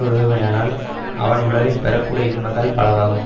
விடுவானேயானால் அவன் உலகில் பெற கூடிய இன்பங்கள் பலவாகும்